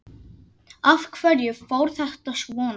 Af hverju fór þetta svona?